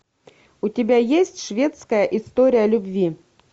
у тебя есть шведская история любви